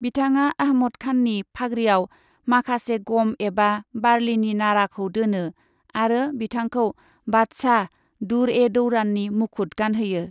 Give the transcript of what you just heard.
बिथाङा आहमद खाननि फाग्रियाव माखासे गम एबा बारलिनि नाराखौ दोनो आरो बिथांखौ बादशाह, दुर् ए दौराननि मुखुत गानहोयो।